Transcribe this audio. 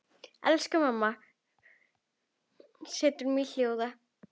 Elsku mamma, mig setur hljóða.